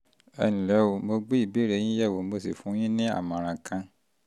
ẹ ǹlẹ́ o mo ti gbé ìbéèrè yín yẹ̀wò mo sì fún yín ní ìmọ̀ràn kan